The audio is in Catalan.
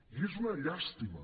i és una llàstima